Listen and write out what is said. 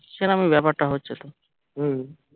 সেরম ই বাপ্যার তা হচ্ছে তো